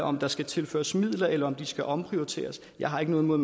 om der skal tilføres midler eller om de skal omprioriteres jeg har ikke noget imod